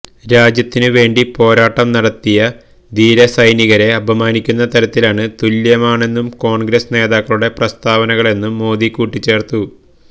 രാജ്യത്തിന് വേണ്ടി പോരാട്ടം നടത്തിയ ധീരസൈനികരെ അപമാനിക്കുന്ന തരത്തിലാണ് തുല്യമാണെന്നും കോണ്ഗ്രസ് നേതാക്കളുടെ പ്രസ്താവനകളെന്നും മോദി കൂട്ടിച്ചേര്ത്തു